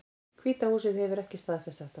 Hvíta húsið hefur ekki staðfest þetta